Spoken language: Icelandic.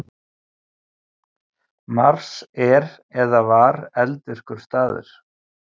Mars er eða var eldvirkur staður.